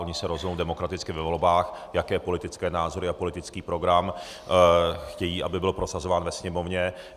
Oni se rozhodnou demokraticky ve volbách, jaké politické názory a politický program chtějí, aby byl prosazován ve Sněmovně.